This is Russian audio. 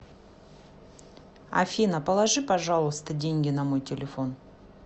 афина положи пожалуйста деньги на мой телефон